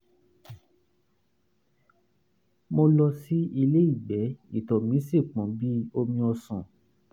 mo lọ sí ilé ìgbẹ́ ìtọ̀ mi sì pọ́n bí omi ọsàn